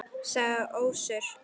sagði Össur.